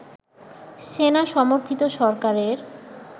সেনা-সমর্থিত সরকারের